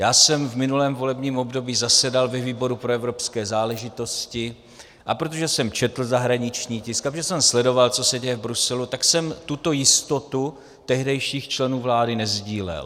Já jsem v minulém volebním období zasedal ve výboru pro evropské záležitosti, a protože jsem četl zahraniční tisk a protože jsem sledoval, co se děje v Bruselu, tak jsem tuto jistotu tehdejších členů vlády nesdílel.